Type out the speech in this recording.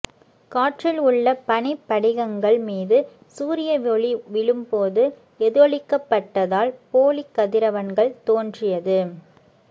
காற்றில் உள்ள பனி படிகங்கள் மீது சூரிய ஒளி விழும்போது எதிரொளிக்கப்பட்ட்தால் போலிக் கதிரவன்கள் தோன்றியது